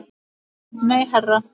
Nei, herra